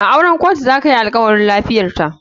A auren kotu zaka yinalkawari. lafiyarta.